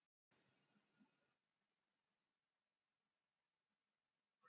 Samantekt og niðurstöður